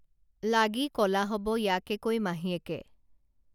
লাগি কলা হব ইয়াকে কৈ মাহীয়েকে